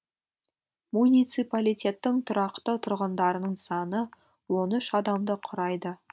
муниципалитеттің тұрақты тұрғындарының саны он үш адамды құрайды